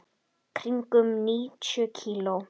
Í kringum níutíu kíló.